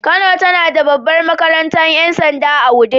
Kano tana da babbar makarantar 'yan sanda a wudil.